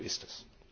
So ist es!